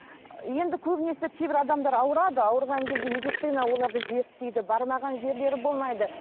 енді көбінесе кейбір адамдар ауырады ауырған кезде медицина оларды зерттейді бармаған жерлері болмайды